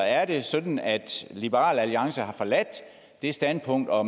er det sådan at liberal alliance nu har forladt det standpunkt og